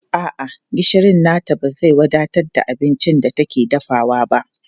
A'a, gishirin nata ba zai wadatar da abincin da take dafawa ba.